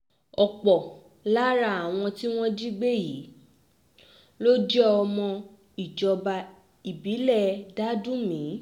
ọ̀pọ̀ lára àwọn tí wọ́n jí gbé yìí ló jẹ́ ọmọ ìjọba ìbílẹ̀ dádùnmé